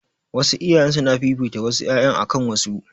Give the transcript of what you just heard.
Wasu iyayen suna fifita wasu ƴaƴan akan wasu